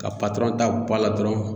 Ka patɔrɔn ta bɔ a la dɔrɔn